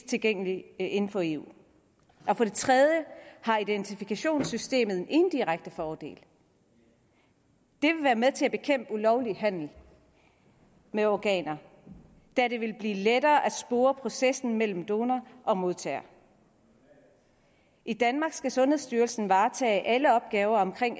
tilgængelig inden for eu for det tredje har identifikationssystemet en indirekte fordel det vil være med til at bekæmpe ulovlig handel med organer da det vil blive lettere at spore processen mellem donor og modtager i danmark skal sundhedsstyrelsen varetage alle opgaver